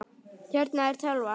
Hérna er tölvan.